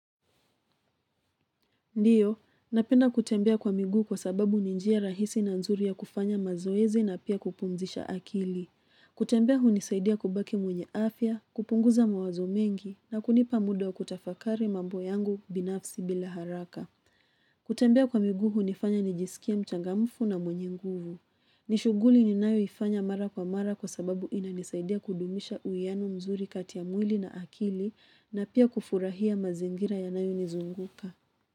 Ndio, napenda kutembea kwa miguu kwa sababu ni njia rahisi na nzuri ya kufanya mazoezi na pia kupumzisha akili. Kutembea hunisaidia kubaki mwenye afya, kupunguza mawazo mengi na kunipa muda wa kutafakari mambo yangu binafsi bila haraka. Kutembea kwa miguu unifanya nijisikia mchangamfu na mwenye nguvu. Ni shughuli ninayoifanya mara kwa mara kwa sababu inanisaidia kudumisha uiano mzuri kati ya mwili na akili na pia kufurahia mazingira yanayonizunguka.